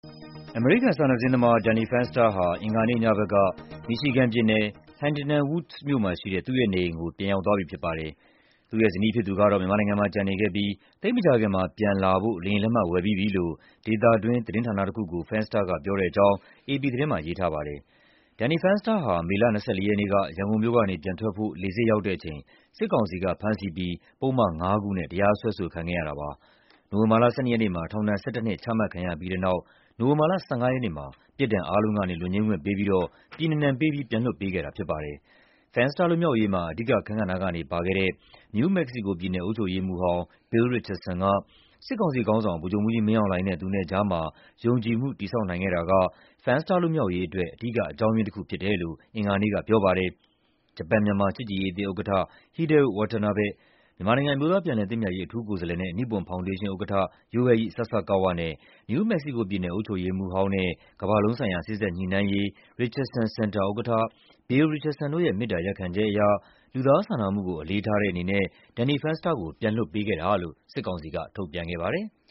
အမေရိကန် စာနယ်ဇင်းသမား Danny Fenster ဟာ အင်္ဂါနေ့ညဘက်က မီရှီဂန်ပြည်နယ်၊ Huntington Woods မြို့က သူ့ရဲ့နေအိမ်ကို ပြန်ရောက်သွားပြီဖြစ်ပါတယ်။ သူ့ရဲ့ဇနီးဖြစ်သူကတော့ မြန်မာနိုင်ငံမှာ ကျန်နေခဲ့ပြီး သိပ်မကြာခင်မှာ ပြန်လာဖို့ လေယာဉ်လက်မှတ် ဝယ်ပြီးပြီလို့ ဒေသတွင်းသတင်းဌာနတခုကို Fenster က ပြောတဲ့အကြောင်း အေပီသတင်းမှာ ရေးထားပါတယ်။ Danny Fenster ဟာ မေလ ၂၄ ရက်နေ့က ရန်ကုန်မြို့ကနေ ပြန်ထွက်ဖို့ လေဆိပ်ရောက်တဲ့အချိန် စစ်ကောင်စီက ဖမ်းဆီးပြီး ပုဒ်မ ၅ ခုနဲ့ တရားစွဲဆိုခံခဲ့ရတာပါ။ နိုဝင်ဘာလ ၁၂ ရက်နေ့မှာ ထောင်ဒဏ် ၁၁ နှစ် ချမှတ်ခံရပြီးတဲ့နောက် နိုဝင်ဘာလ ၁၅ ရက်နေ့မှာ ပြစ်ဒဏ်အားလုံးကနေ လွတ်ငြိမ်းခွင့်ပေးပြီးတော့ ပြည်နှင်ဒဏ်ပေးပြီး ပြန်လွှတ်ပေးခဲ့တာဖြစ်ပါတယ်။ Fenster လွတ်မြောက်ရေးမှာ အဓိကအခန်းကဏ္ဍကနေ ပါဝင်ခဲ့တဲ့ နယူးမက္ကဆီကိုပြည်နယ် အုပ်ချုပ်ရေးမှူးဟောင်း Bill Rihcardson က စစ်ကောင်စီခေါင်းဆောင် ဗိုလ်ချုပ်မှူးကြီးမင်းအောင်လှိုင်နဲ့ သူနဲ့ကြားမှာ ယုံကြည်မှု တည်ဆောက်နိုင်ခဲ့တာက Fenster လွတ်မြောက်ရေးအတွက် အဓိက အကြောင်းရင်း တခုဖြစ်တယ်လို့ အင်္ဂါနေ့ကပြောပါတယ်။ ဂျပန်-မြန်မာ ချစ်ကြည်ရေးအသင်းဥက္ကဋ္ဌ Hideo Watanabe၊ မြန်မာနိုင်ငံ အမျိုးသား ပြန်လည်သင့်မြတ်ရေး အထူးကိုယ်စားလှယ်နဲ့ နိပွန် ဖောင်ဒေးရှင်းဥက္ကဋ္ဌ Yohei Sasakawa နဲ့ နယူး မက္ကဆီကိုပြည်နယ် အုပ်ချုပ်ရေး မှူးဟောင်းနဲ့ ကမ ္ဘာလုံးဆိုင်ရာ စေ့စပ်ညှိနှိုင်းရေး Richardson Center ဥက္ကဋ္ဌ Bill Richardson တို့ရဲ့ မေတ္တာ ရပ်ခံချက်အရ လူသားစာနာမှုကို အလေးထားတဲ့အနေနဲ့ Danny Fenster ကို ပြန်လွှတ်ပေးခဲ့တာလို့ စစ်ကောင်စီက ထုတ်ပြန်ခဲ့ပါတယ်။